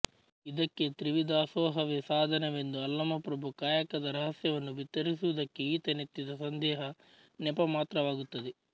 ಇದಕ್ಕೆ ತ್ರಿವಿಧದಾಸೋಹವೇ ಸಾಧನವೆಂದು ಅಲ್ಲಮಪ್ರಭು ಕಾಯಕದ ರಹಸ್ಯವನ್ನು ಬಿತ್ತರಿಸುವುದಕ್ಕೆ ಈತನೆತ್ತಿದ ಸಂದೇಹ ನೆಪಮಾತ್ರವಾಗುತ್ತದೆ